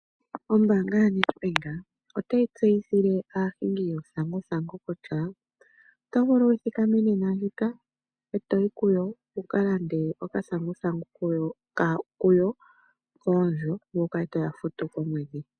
Ombaanga yaNedbank otayi tseyithile aahingi yuuthanguthangu kutya oto vulu wu thikame nena ndjika e to yi kuyo wu ka lande okathanguthangu kuyo koondjo, ngoye wu kale to ya futu komwedhi.